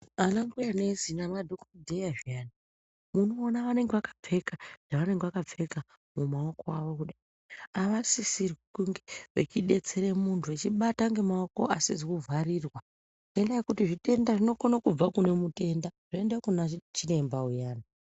Ana mbuya nesi nama dhokodheya zviyani uno ona vanenge vaka pfeka zva vanenge vaka pfeka mu maoko awo kudai ava sisirwi kunge vechi detsere muntu vechi bata nge maoko asizi ku vharirwa ngenda yekuti zvitenda zvino kona kubva kune mutenda zvo enda kuna chiremba uyani.